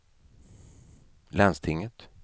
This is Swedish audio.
landstinget